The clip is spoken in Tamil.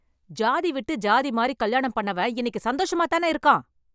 ஜாதி விட்டு ஜாதி மாறி கல்யாணம் பண்ணவன் இன்னைக்கு சந்தோஷமாதானே இருக்கான்?